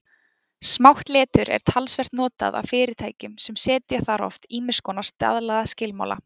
Smátt letur er talsvert notað af fyrirtækjum sem setja þar oft ýmis konar staðlaða skilmála.